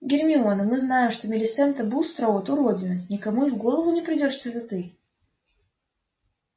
гермиона мы знаем что милисента бустроуд уродина никому и в голову не придёт что это ты